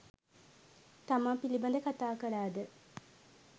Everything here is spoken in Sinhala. තමා පිළිබඳ කතා කළා ද?